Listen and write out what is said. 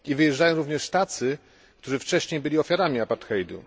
Wyjeżdżają również tacy, którzy wcześniej byli ofiarami apartheidu.